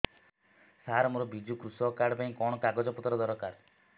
ସାର ମୋର ବିଜୁ କୃଷକ କାର୍ଡ ପାଇଁ କଣ କାଗଜ ପତ୍ର ଦରକାର